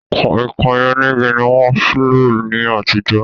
Kọ̀ìnkọ̀ìn onígi ni wọ́n ń lò ní àtijọ́